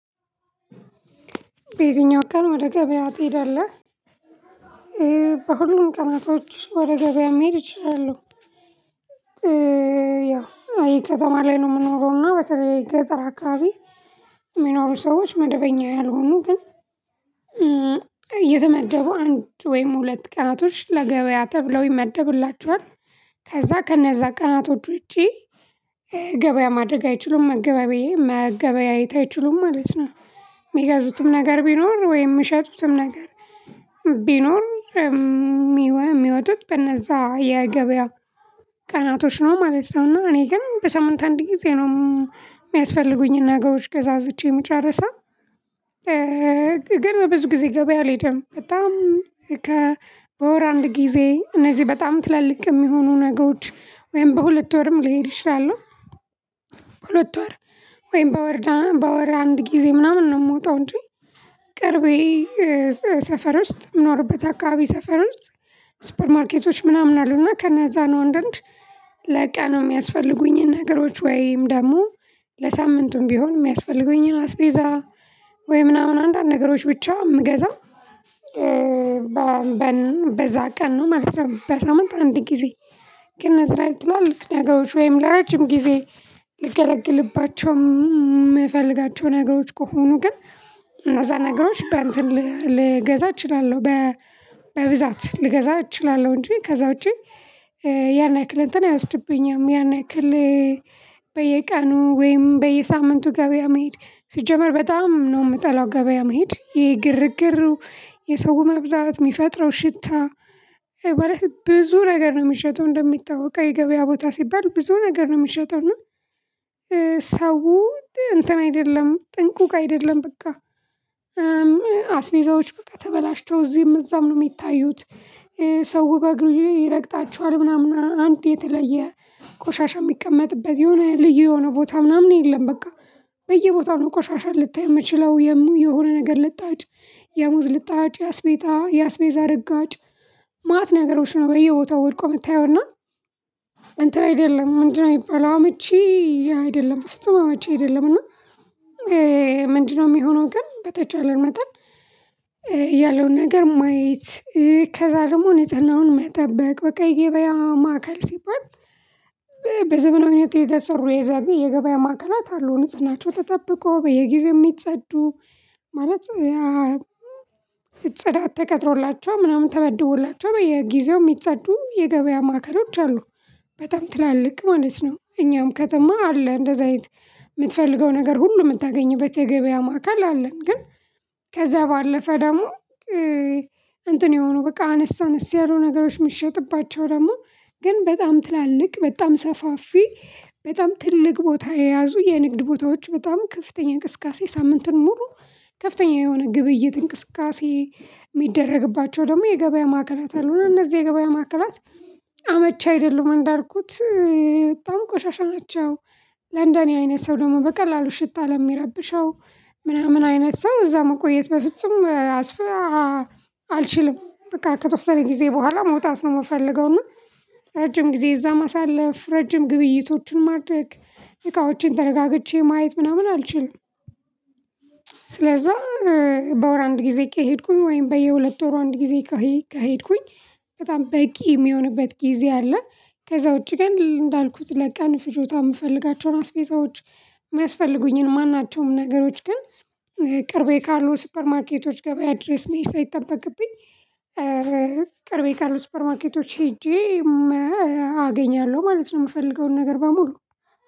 በየትኛው ቀን ወደ ገበያ ትሄዳለህ? በሁሉም ቀናቶች ወደ ገበያ መሄድ እችላለሁ። ያው ከተማ ላይ ነው የምኖረው እና በተለይ ገጠር አካባቢ የሚኖሩ ሰዎች መደበኛ ያልሆኑ ግን እየተመደቡ አንድ ወይም ሁለት ቀናቶች ለገበያ ተብለው ይመደብላቸዋል። ከዛ ከነዛ ቀናቶች ውጪ ገበያ ማድረግ አይችሉም። መገበያየት አይችሉም ማለት ነው። የሚገዙትም ነገር ቢኖር ወይም የምሸጡትም ነገር ቢኖር። የሚወጡት በነዛ የገበያ ቀናቶች ነው ማለት ነው። እና እኔ ግን በሳምንት አንድ ጊዜ ነው የሚያስፈልጉኝ ነገሮች ገዛዝቼ ምጨርሰው። ግን ብዙ ጊዜ ገበያ አልሄድም በጣም ከወር አንድ ጊዜ እነዚህ በጣም ትላልቅ የሚሆኑ ነገሮች ወይም በሁለት ወርም ልሄድ ይችላሉ። ሁለት ወር ወይም በወር በወር አንድ ጊዜ ምናምን ነው የምወጣው እንጂ። ቅርቤ ሰፈር ውስጥ የምኖርበት አካባቢ ሰፈር ውስጥ ሱፐር ማርኬቶች ምናምን አሉና ከነዛ ነው አንዳንድ ለቀኑ የሚያስፈልጉኝን ነገሮች ወይም ደግሞ ለሳምንቱም ቢሆን የሚያስፈልጉኝን አስቤዛ ወይ ምናምን አንዳንድ ነገሮች ብቻ የምገዛው። በዛ ቀን ነው ማለት ነው በሳምንት አንድ ጊዜ። ግን እነዚህ ላይ ትሏል ነገሮች ወይም ለረጅም ጊዜ ልገለግልባቸው የምፈልጋቸው ነገሮች ከሆኑ ግን እነዛ ነገሮች በእንትን ልገዛ እችላለሁ። በብዛት ልገዛ እችላለሁ እንጂ ከዛ ውጪ። ያን ያክል እንትን አይወስድብኝም ያን ያክል። በየቀኑ ወይም በየሳምንቱ ገበያ መሄድ ሲጀመር በጣም ነው የምጠላው። ገበያ መሄድ ይሄ ግርግሩ የሰው መብዛት የሚፈጥረው ሽታ ማለት ብዙ ነገር ነው የሚሸጠው እንደሚታወቀው የገበያ ቦታ ሲባል ብዙ ነገር ነው የምሸጠው እና። ሰው እንትን አይደለም ጥንቁቅ አይደለም በቃ። አስቤዛዎች በቃ ተበላሽተው እዚህም እዛም ነው የሚታዩት። ሰው በእግሩ ይረግጣቸዋል ምናምን አንድ የተለየ ቆሻሻ የሚቀመጥበት የሆነ ልዩ የሆነ ቦታ ምናምን የለም። በቃ በየቦታው ነው ቆሻሻ ልታይ የምችለው የሆነ ነገር ልጣጭ የሙዝ ልጣጭ የአስቤዛ እርጋጭ ማት ነገሮች ነው በየቦታው ወድቆ የምታየውና። እንትን አይደለም ምንድነው የሚባለው ምቹ አይደለም በፍጹም አይደለም። እና ምንድነው የሚሆነው ግን በተቻለ መጠን ያለውን ነገር ማየት ከዛ ደግሞ ንጽህናውን አሁን መጠበቅ በቃ የገበያ ማዕከል ሲባል። በዘመናዊነት የተሰሩ የዛቢ የገበያ ማዕከላት አሉ ንጽህናቸው ተጠብቆ በየጊዜው የሚጸዱ ማለት ያ ጽዳት ተቀጥሮላቸዋል ምናምን ተመድቦላቸዋል በየጊዜው የሚጸዱ የገበያ ማዕከሎች አሉ። በጣም ትላልቅ ማለት ነው እኛም ከተማ አለ እንደዛ አይነት የምትፈልገው ነገር ሁሉ የምታገኝበት የገበያ ማዕከል አለ። ግን ከዛ ባለፈ ደግሞ እንትን የሆኑ በቃ አነስ አነስ ያሉ ነገሮች የሚሸጥባቸው ደግሞ ግን በጣም ትላልቅ በጣም ሰፋፊ በጣም ትልቅ ቦታ የያዙ የንግድ ቦታዎች በጣም ከፍተኛ እንቅስቃሴ ሳምንትን ሙሉ ከፍተኛ የሆነ ግብይት እንቅስቃሴ የሚደረግባቸው ደግሞ የገበያ ማዕከላት አሉ። እና እነዚህ የገበያ ማዕከላት አመቺ አይደለሁም እንዳልኩት። በጣም ቆሻሻ አላቸው ለንደኔ አይነት ሰው ደግሞ በቀላሉ ሽታ ለሚረብሸው ምናምን አይነት ሰው እዛ መቆየት በፍጹም አልችልም። በቃ ከተወሰነ ጊዜ በኋላ መውጣት ነው የምፈልገው እና ረጅም ጊዜ እዛ ማሳለፍ ረጅም ግብይቶችን ማድረግ እቃዎችን ተረጋግቼ ማየት ምናምን አልችልም። ስለዛ በወር አንድ ጊዜ ከሄድኩኝ ወይም በየሁለት ወር አንድ ጊዜ ከሄድኩኝ በጣም በቂ የሚሆንበት ጊዜ አለ። ከዛ ውጪ ግን እንዳልኩት ለቀን ፍጆታ የምፈልጋቸውን አስቤዛዎች የሚያስፈልጉኝን ማናቸውም ነገሮች ግን ቅርቤ ካሉ ሱፐር ማርኬቶች ገበያ ድሬስ መሄድ ሳይጠበቅብኝ። ቅርቤ ካሉ ሱፐር ማርኬቶች ሄጄ አገኛለሁ ማለት ነው። የምፈልገውን ነገር በሙሉ